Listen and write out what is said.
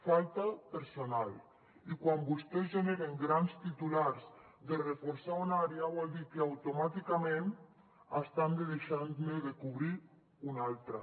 falta personal i quan vostès generen grans titulars de reforçar una àrea vol dir que automàticament estan deixant ne de cobrir una altra